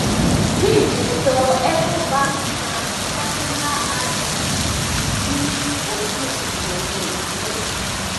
fitch sọ ecobank transnational inc di bi ojúìwòye ìdúróṣinṣin